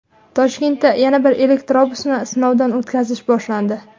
Toshkentda yana bir elektrobusni sinovdan o‘tkazish boshlandi.